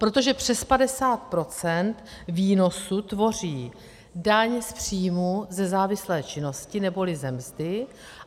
Protože přes 50 % výnosu tvoří daň z příjmu ze závislé činnosti neboli ze mzdy.